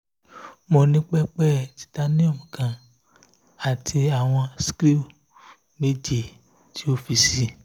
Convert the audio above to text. mo ni pẹpẹ titanium kan ati awọn skru mẹjọ ti o fi sii